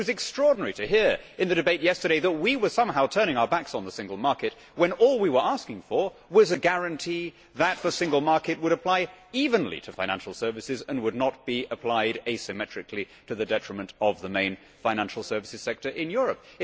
It was extraordinary to hear in the debate yesterday that the UK was somehow turning its back on the single market when all it was asking for was a guarantee that the single market would apply evenly to financial services and would not be applied asymmetrically, to the detriment of the main financial services sector in Europe.